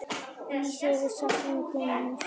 Lýsir yfir sakleysi sínu